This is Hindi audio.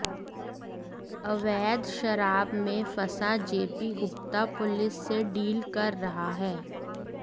अवैध शराब में फंसा जेपी गुप्ता पुलिस से डील कर रहा है